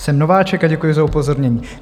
Jsem nováček a děkuji za upozornění.